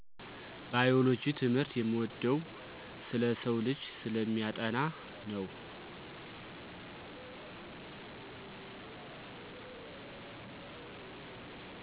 ባዮሎጂ ትምህርት የምወደው ስለ ሰውልጂ ስለሚያጠና ነው።